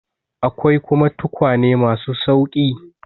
Akwai kuma tukwane ma su sauƙi.